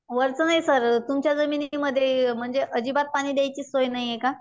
वरचं नाही सर तुमच्या जमिनीमध्ये म्हणजे अजिबात पाणी द्यायची सोय नाहीये का?